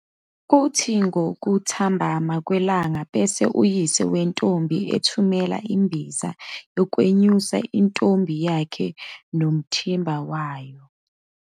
Kuthi ngokuthambama kwelanga bese uyise wentombi ethumela imbiza yokwenyusa intombi yakhe nomthimba wayo.